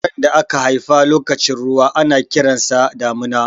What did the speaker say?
Yaron da aka haifa lokacin ruwa ana kiran sa da Damina.